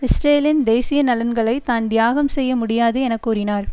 இஸ்ரேலின் தேசிய நலன்களைத் தான் தியாகம் செய்ய முடியாது என கூறினார்